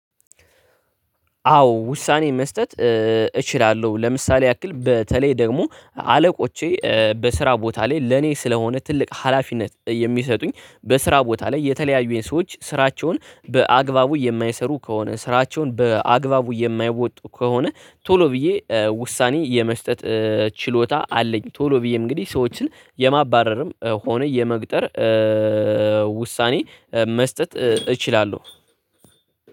አዎ ውሳኔ መስጠት። እችላለሁ ለምሳሌ ያክል በተለይ ደግሞ አለቆቼ በስራ ቦታ ላይ ለኔ ስለሆነ ትልቅ ሀላፊነት የሚሰጡኝ በስራ ቦታ ላይ የተለያዩ የሰዎች ስራቸውን በአግባቡ የማይሰሩ ከሆነ ስራቸውን በአግባቡ የማይወጡ ከሆነ ቶሎ ብዬ ውሳኔ የመስጠት ችሎታ አለኝ ቶሎ ብዬ እንግዲህ ሰዎችን የማባረርም ሆነ የመግጠር ውሳኔ መስጠት እችላለሁ።